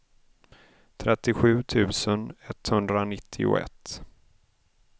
trettiosju tusen etthundranittioett